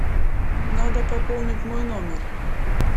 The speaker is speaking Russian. надо пополнить мой номер